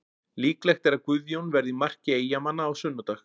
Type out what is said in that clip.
Líklegt er að Guðjón verði í marki Eyjamanna á sunnudag.